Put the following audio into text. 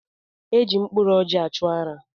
E ji mkpụrụ ọjị achụ ụra.